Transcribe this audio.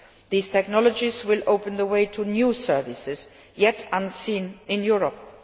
These technologies will open the way to new services, as yet unseen in Europe.